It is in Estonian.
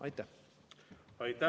Aitäh!